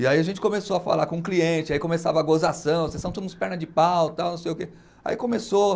E aí a gente começou a falar com o cliente, aí começava a gozação, vocês são tudo uns perna de pau, tal, não sei o quê. Aí começou